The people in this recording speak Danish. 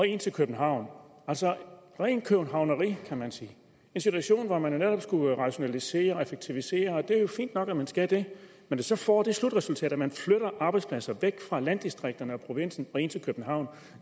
ind til københavn altså rent københavneri kan man sige i en situation hvor man netop skulle rationalisere og effektivisere og det er jo fint nok at man skal det når det så får det slutresultat at man flytter arbejdspladser væk fra landdistrikterne og provinsen og ind til københavn